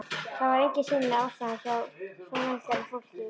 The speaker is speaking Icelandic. Það var engin sýnileg ástæða hjá svo vel gerðu fólki.